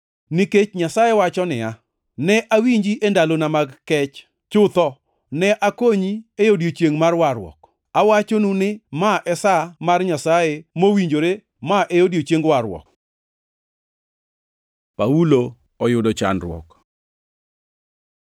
Nikech Nyasaye wacho niya, “Ne awinji e ndalona mag kech; chutho ne akonyi e odiechiengʼ mar warruok.” + 6:2 \+xt Isa 49:8\+xt* Awachonu ni, ma e sa mar Nyasaye mowinjore, ma e odiechieng warruok. Paulo oyudo chandruok